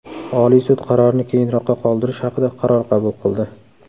Oliy sud qarorni keyinroqqa qoldirish haqida qaror qabul qildi.